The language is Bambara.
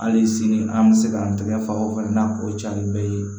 Hali sini an bɛ se k'an tɛgɛ fa o fɛn n'a o ca ni bɛɛ ye